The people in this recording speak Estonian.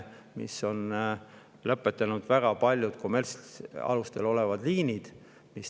Seetõttu on väga paljud kommertsalustel olnud liinid.